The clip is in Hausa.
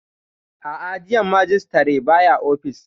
A'a, jiya Majistare bai ofis